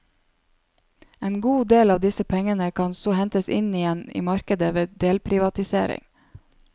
En god del av disse pengene kan så hentes inn igjen i markedet ved delprivatisering.